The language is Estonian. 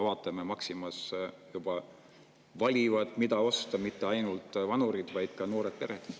Maximas valivad, mida osta, mitte ainult vanurid, vaid ka juba noored pered.